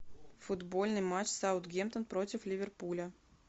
футбольный матч саутгемптон против ливерпуля